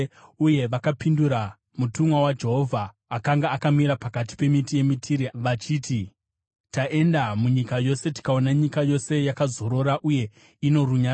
Uye vakapindura mutumwa waJehovha akanga akamira pakati pemiti yemitire vachiti, “Taenda munyika yose tikaona nyika yose yakazorora uye ino runyararo.”